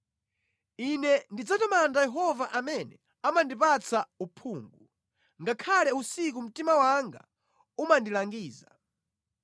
Ine ndidzatamanda Yehova amene amandipatsa uphungu; ngakhale usiku mtima wanga umandilangiza.